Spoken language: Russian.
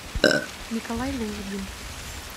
николай лужбин